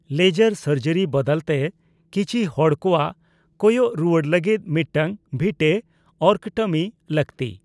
Laser ᱥᱟᱨᱡᱤᱨ ᱵᱟᱫᱟᱞ ᱛᱮ, ᱠᱤᱪᱷᱤ ᱦᱚᱲ ᱠᱳᱣᱟᱜ ᱠᱚᱭᱚᱜ ᱨᱩᱭᱟᱹᱲ ᱞᱟᱹᱜᱤᱫ ᱢᱤᱫᱴᱟᱝ ᱵᱷᱤᱴᱮᱚᱨᱠᱚᱴᱢᱤ ᱞᱟᱹᱠᱛᱤ ᱾